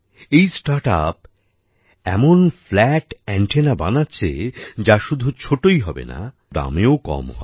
এই স্টার্টআপ এমন flat antenna বানাচ্ছে যা শুধু ছোটোই হবে না দামেও কম হবে